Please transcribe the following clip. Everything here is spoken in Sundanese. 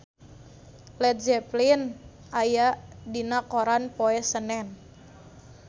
Led Zeppelin aya dina koran poe Senen